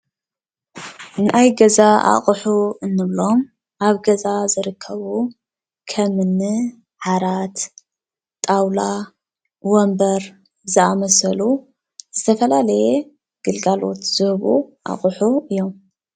ናይ ገዛ ኣቑሑ እንብሎም ኣብ ገዛ ዝርከቡ ከም እኒ ዓራት፣ ጣውላ፣ ወንበር ዝኣምሰሉ ዝተፈላለየ ግልጋሎት ዝህቡ ኣቑሑ እዮም፡፡